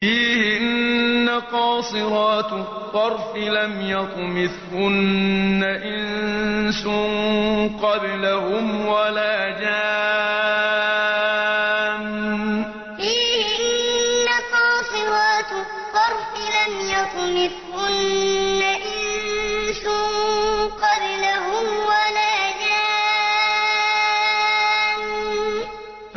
فِيهِنَّ قَاصِرَاتُ الطَّرْفِ لَمْ يَطْمِثْهُنَّ إِنسٌ قَبْلَهُمْ وَلَا جَانٌّ فِيهِنَّ قَاصِرَاتُ الطَّرْفِ لَمْ يَطْمِثْهُنَّ إِنسٌ قَبْلَهُمْ وَلَا جَانٌّ